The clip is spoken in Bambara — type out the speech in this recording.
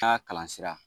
Taa kalan sira